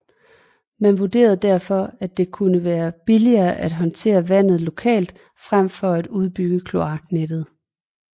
Man vurderede derfor at det kunne være billigere at håndtere vandet lokalt frem for at udbygge kloaknettet